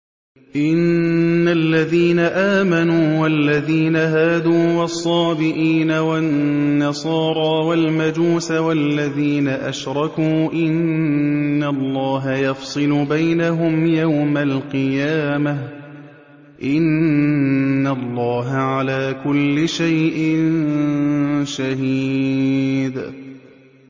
إِنَّ الَّذِينَ آمَنُوا وَالَّذِينَ هَادُوا وَالصَّابِئِينَ وَالنَّصَارَىٰ وَالْمَجُوسَ وَالَّذِينَ أَشْرَكُوا إِنَّ اللَّهَ يَفْصِلُ بَيْنَهُمْ يَوْمَ الْقِيَامَةِ ۚ إِنَّ اللَّهَ عَلَىٰ كُلِّ شَيْءٍ شَهِيدٌ